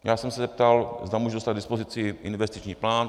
Já jsem se zeptal, zda můžu dostat k dispozici investiční plán.